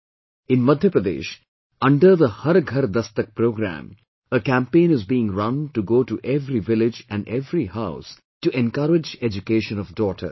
In Madhya Pradesh, under the "Har Ghar Dastak" programme a campaign is being run to go to every village and every house to encourage education of daughters